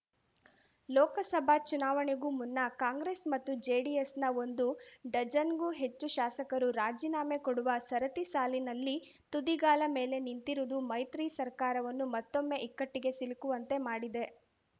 ಲೋಕಸಭಾ ಚುನಾವಣೆಗೂ ಮುನ್ನ ಕಾಂಗ್ರೆಸ್ ಮತ್ತು ಜೆಡಿಎಸ್‌ನ ಒಂದು ಡಜನ್‌ಗೂ ಹೆಚ್ಚು ಶಾಸಕರು ರಾಜೀನಾಮೆ ಕೊಡುವ ಸರತಿಸಾಲಿನಲ್ಲಿ ತುದಿಗಾಲ ಮೇಲೆ ನಿಂತಿರುವುದು ಮೈತ್ರಿ ಸರ್ಕಾರವನ್ನು ಮತ್ತೊಮ್ಮೆ ಇಕ್ಕಟ್ಟಿಗೆ ಸಿಲುಕುವಂತೆ ಮಾಡಿದೆ